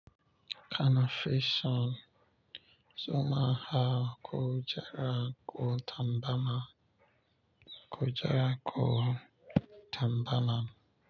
Kana fi son, zama a kujera ko tabarma, kujera ku tabarma.